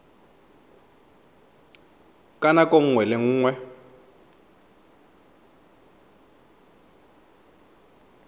ka nako nngwe le nngwe